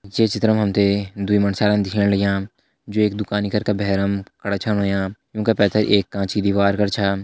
जे चित्र मा हम तें दुई मंडस्यारा दिखेण लग्यां जु एक दुकानि कर का भैरम खड़ा छन होयां यूं का पैथर एक कांच की दिवार कर छा।